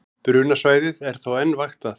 Brunasvæðið er þó enn vaktað